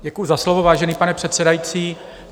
Děkuji za slovo, vážený pane předsedající.